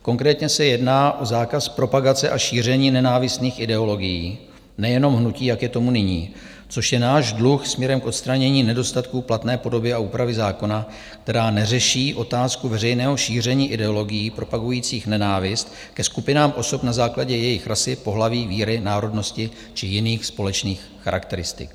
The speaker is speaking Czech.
Konkrétně se jedná o zákaz propagace a šíření nenávistných ideologií - nejenom hnutí, jak je tomu nyní, což je náš dluh směrem k odstranění nedostatků platné podoby a úpravy zákona, která neřeší otázku veřejného šíření ideologií propagujících nenávist ke skupinám osob na základě jejich rasy, pohlaví, víry, národnosti či jiných společných charakteristik.